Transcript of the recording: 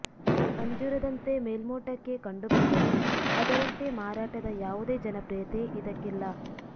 ಅಂಜೂರದಂತೆ ಮೇಲ್ಮೋಟಕ್ಕೆ ಕಂಡು ಬಂದರೂ ಅದರಂತೆ ಮಾರಾಟದ ಯಾವುದೇ ಜನಪ್ರಿಯತೆ ಇದಕ್ಕಿಲ್ಲ